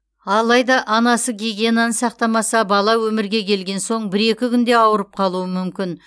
алайда анасы гигиенаны сақтамаса бала өмірге келген соң бір екі күнде ауырып қалуы мүмкін